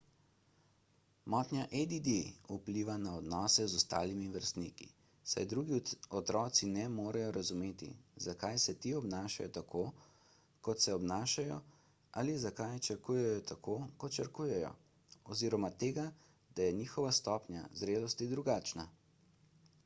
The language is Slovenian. motnja add vpliva na odnose z ostalimi vrstniki saj drugi otroci ne morejo razumeti zakaj se ti obnašajo tako kot se obnašajo ali zakaj črkujejo tako kot črkujejo oziroma tega da je njihova stopnja zrelosti drugačna